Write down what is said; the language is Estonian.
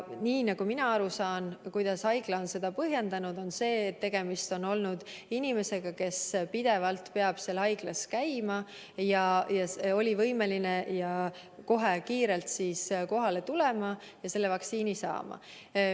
Nii nagu mina aru saan, on haigla põhjendanud seda sellega, et tegemist oli inimesega, kes peab pidevalt seal haiglas kohal käima ja kes oli kohe kiiresti võimeline kohale tulema ja selle vaktsiini saama.